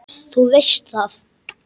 Þú veist það!